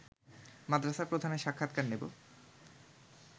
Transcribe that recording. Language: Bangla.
মাদ্রাসা প্রধানের সাক্ষাৎকার নেব